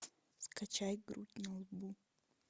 скачай грудь на лбу